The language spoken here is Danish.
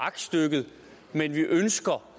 aktstykket men at vi ønsker